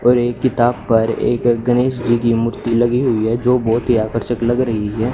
और एक किताब पर एक गणेश जी की मूर्ति लगी हुई है जो बहुत ही आकर्षक लग रही है।